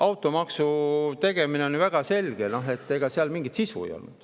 Aga automaksu tegemisel oli ju väga selge, ega seal mingit sisu ei ole.